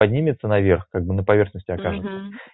поднимется наверх когда на поверхности окажется угу